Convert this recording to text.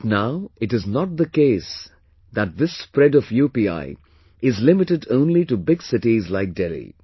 But now it is not the case that this spread of UPI is limited only to big cities like Delhi